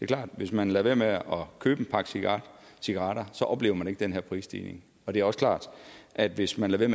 klart at hvis man lader være med at købe en pakke cigaretter cigaretter oplever man ikke den her prisstigning det er også klart at hvis man lader